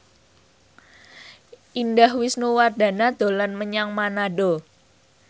Indah Wisnuwardana dolan menyang Manado